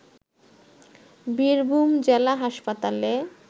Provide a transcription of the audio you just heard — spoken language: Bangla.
বীরভূম জেলা হাসপাতালে